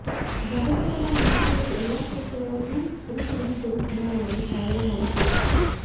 ಜಗತ್ತಿನಲ್ಲಿ ಮಹಿಳೆಯರು ಎಲ್ಲ ಕ್ಷೇತ್ರಗಳಲ್ಲೂ ಪುರುಷರಿಗೆ ಸರಿ ಸಮಾನವಾಗಿ ಸಾಧನೆ ಮಾಡುತ್ತಿದ್ದಾರೆ